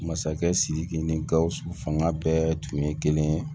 Masakɛ sidiki ni gausu fanga bɛɛ tun ye kelen ye